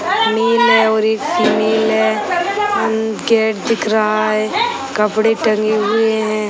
नीले और एक नीले उम गेट दिख रहा है कपड़े टंगे हुए हैं।